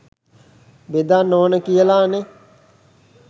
බෙදන්න ඕන කියලා නෙ.